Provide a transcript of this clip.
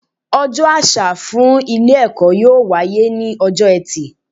Ojó àsà fún Ilé èkó yóò wáyé ní ojó etì